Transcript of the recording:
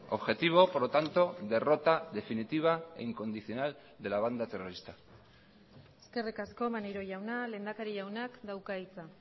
objetivo por lo tanto derrota definitiva e incondicional de la banda terrorista eskerrik asko maneiro jauna lehendakari jaunak dauka hitza